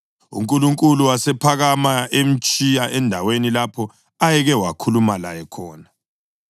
UNkulunkulu wasephakama emtshiya endaweni lapho ayeke wakhuluma laye khona.